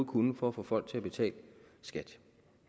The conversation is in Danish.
kunne for at få folk til at betale skat